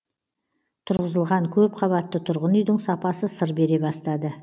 тұрғызылған көп қабатты тұрғын үйдің сапасы сыр бере бастады